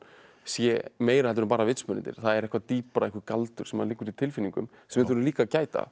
sé meira heldur en bara vitsmunirnir það er eitthvað dýpra einhver galdur sem liggur í tilfinningum sem við þurfum líka að gæta